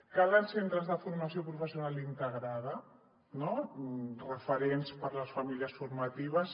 calen centres de formació professional integrada no referents per a les famílies formatives